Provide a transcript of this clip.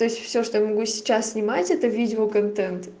то есть всё что могу сейчас снимать это видео контент